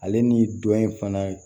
Ale ni dɔ in fana